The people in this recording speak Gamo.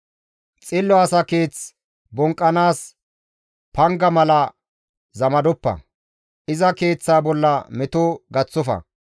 Xillo asa keeth bonqqanaas panga mala zamadoppa; iza keeththa bolla meto gaththofa.